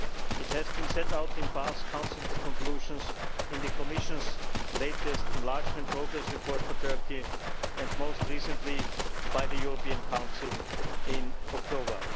It has been set out in past Council conclusions, in the Commission's latest enlargement progress report for Turkey, and most recently by the European Council in October.